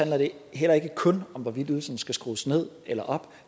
heller ikke kun om hvorvidt ydelserne skal skrues ned eller op